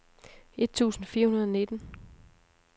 et tusind fire hundrede og nitten